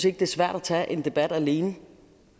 ikke det er svært at tage en debat alene